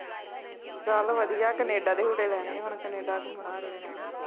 ਚੱਲ ਵਧੀਆਂ ਕੈਨੇਡਾ ਦੇ ਝੂਟੇ ਲੈਣੇ ਆ ਹੁਣ, ਕੈਨੇਡਾ ਘੁੰਮਣਾ ਅਗਲੇ ਨੇ